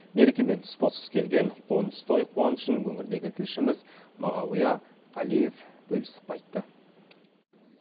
мерекемен тұспа тұс келген қоныс той қуанышын өңірдегі тілшіміз мағауия қалиев бөлісіп қайтты